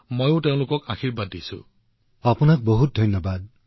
সুন্দৰ কথা মোৰ হৈ আৰু মন কী বাতৰ শ্ৰোতাসকলৰ হৈ কন্যাদুজনীক বহুতো আশীৰ্বাদ দিছো